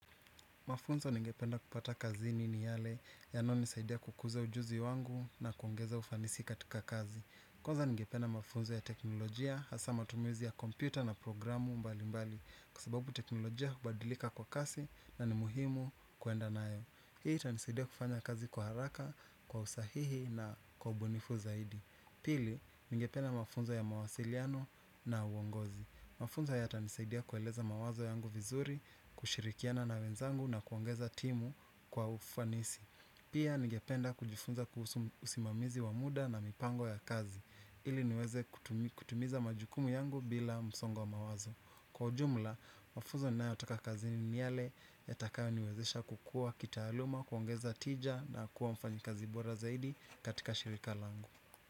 Mafunzo ningependa kupata kazini ni yale yanayonisaidia kukuza ujuzi wangu na kuongeza ufanisi katika kazi. Kwanza ningependa mafunzo ya teknolojia hasa matumizi ya kompyuta na programu mbali mbali kwa sababu teknolojia hubadilika kwa kasi na ni muhimu kuenda nayo. Hii itanisaidia kufanya kazi kuharaka kwa usahihi na kwa bunifu zaidi. Pili, ningependa mafunzo ya mawasiliano na uongozi. Mafunzo yatanisaidia kueleza mawazo yangu vizuri, kushirikiana na wenzangu na kuongeza timu kwa ufanisi. Pia ningependa kujifunza kuhusu usimamizi wa muda na mipango ya kazi. Ili niweze kutumi kutumiza majukumu yangu bila msongo wa mawazo. Kwa ujumla, mafunzo ninayoyataka kazini ni niyale ya takayo niwezesha kukua kita aluma, kuongeza tija na kuwa mfanyi kazi bora zaidi katika shirika langu.